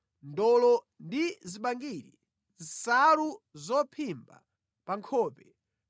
ndolo ndi zibangiri, nsalu zophimba pa nkhope,